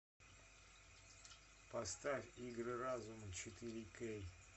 поставь игры разума четыре кей